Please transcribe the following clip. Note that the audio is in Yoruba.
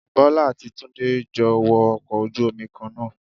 Bọ́lá àti Túndé jọ wọ ọkọ̀ ojú Omi Kan náà